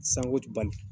Sango ti bali